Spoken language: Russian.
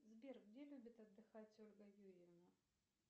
сбер где любит отдыхать ольга юрьевна